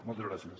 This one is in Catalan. moltes gràcies